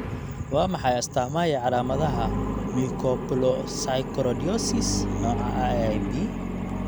Waa maxay astamaaha iyo calaamadaha Mucopolysaccharidosis nooca IIIB?